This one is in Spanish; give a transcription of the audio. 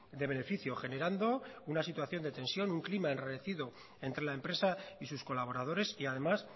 de beneficio generando una situación de tensión un clima enrarecido entre la empresa y sus colaboradores y además